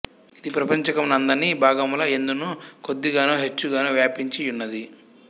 ఇది ప్రపంచకము నందన్ని భాగముల యందును కొద్దిగనో హెచ్చుగనో వ్యాపించి యున్నది